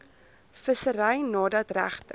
vissery nadat regte